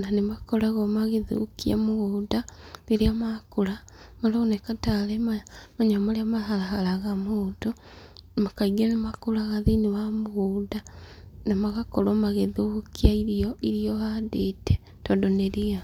na nĩ makoragwo magĩthũkia mũgũnda rĩrĩra makũra, maraoneka tarĩ maya manyamũ marĩa mahara haraga mũndũ. Kaingĩ nĩ makũra thĩ-inĩ wa mũgũnda na magakorwo magĩthũkĩa irio irĩa ũhandete tondũ nĩ ria.